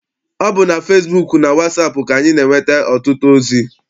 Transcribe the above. Ọ bụ na fesibuuku na wasaapụ ka anyị na-enweta ọtụtụ ozi.